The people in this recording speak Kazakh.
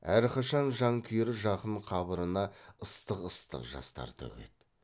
әрқашан жан күйер жақын қабырына ыстық ыстық жастар төгеді